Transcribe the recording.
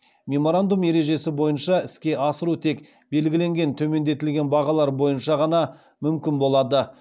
меморандум ережесі бойынша іске асыру тек белгіленген төмендетілген бағалар бойынша ғана мүмкін болады